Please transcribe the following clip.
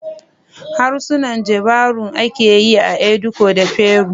Harsunan Jivaroan ake yi a Ecuador da Peru